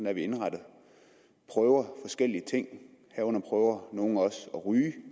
er vi indrettet prøver forskellige ting herunder prøver nogle også at ryge